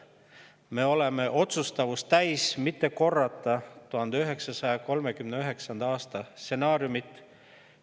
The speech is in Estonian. Me oleme otsustavust täis: mitte korrata 1939. aasta stsenaariumit.